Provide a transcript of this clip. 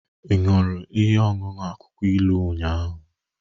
Ị ṅụrụ ihe ọṅụṅụ akwụkwọ ilu ụnyahụ?